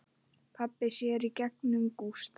Pabbi sér í gegnum Gústa.